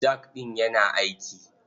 Jak ɗin yana aiki.